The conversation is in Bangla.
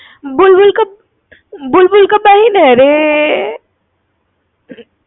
बुलबुल का बहिन आया रे